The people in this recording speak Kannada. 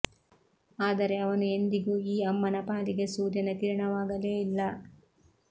ಆದರೆ ಅವನು ಎಂದಿಗೂ ಈ ಅಮ್ಮನ ಪಾಲಿಗೆ ಸೂರ್ಯನ ಕಿರಣವಾಗಲೇ ಇಲ್ಲ